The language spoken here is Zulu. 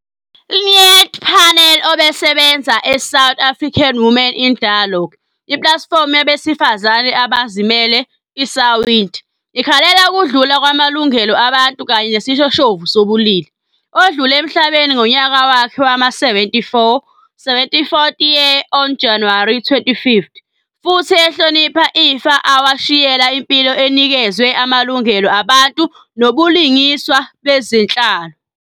Lynette Palmer obesebenza eSouth African Women in Dialogue, iplatifomu yabesifazane abazimele, iSawid, ikhalela ukudlula kwamalungelo abantu kanye nesishoshovu sobulili, odlule emhlabeni ngonyaka wakhe wama-74, 74th year, on January 25th, futhi ehlonipha ifa awashiyela impilo enikezwe amalungelo abantu nobulungiswa bezenhlalo.